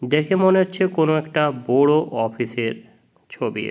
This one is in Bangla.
দেখে মনে হচ্ছে কোন একটা বোরো অফিস এর ছবি।